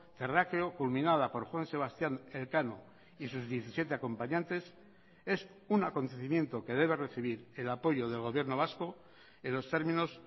terráqueo culminada por juan sebastián elcano y sus diecisiete acompañantes es un acontecimiento que debe recibir el apoyo del gobierno vasco en los términos